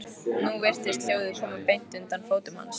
Nú virtist hljóðið koma beint undan fótum hans.